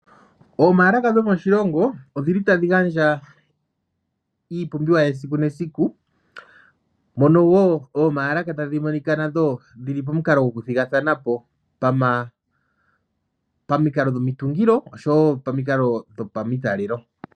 Omaalaka dhomoshilongo odhili tadhi gandja iipumbiwa yesiku nesiku, mono woo oomaalaka tadhi monika nadho dhi li pomikalo dhoku thigathana po, pamikalo dhomitungilo osho wo pamikalo dhopamitalelo.